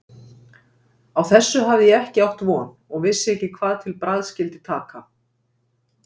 Á þessu hafði ég ekki átt von og vissi ekki hvað til bragðs skyldi taka.